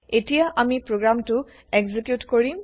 এতিয়া আমি প্ৰগ্ৰেমটো এক্সেকিউট কৰিম